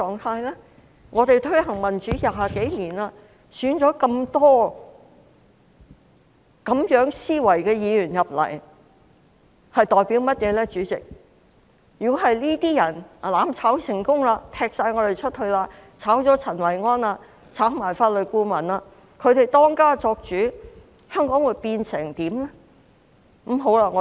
香港推行民主20多年，那麼多有這種思維的議員當選，如果他們"攬炒"成功，把我們踢出去，辭退陳維安和法律顧問，由他們當家作主，香港會變成怎樣呢？